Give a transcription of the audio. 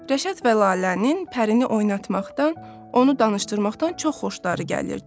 Rəşad və Lalənin Pərini oynatmaqdan, onu danışdırmaqdan çox xoşları gəlirdi.